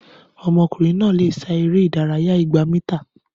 Ọmọkùnrin náà lè sá eré ìdárayá igba mítà